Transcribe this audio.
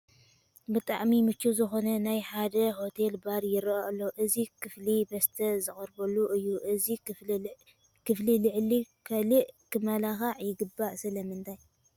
ብጥዕሚ ምችው ዝኾነ ናይ ሓደ ሆቴል ባር ይርአ ኣሎ፡፡ እዚ ክፍሊ መስተ ዝቐርበሉ እዩ፡፡ እዚ ክፍሊ ልዕሊ ካልእ ክመላካዕ ይግብኦ፡፡ ስለምንታይ?